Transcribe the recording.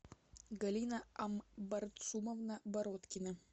галина амбарцумовна бородкина